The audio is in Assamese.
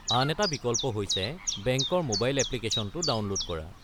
আন এটা বিকল্প হৈছে বেংকৰ ম'বাইল এপ্লিকেশ্যনটো ডাউনলোড কৰা।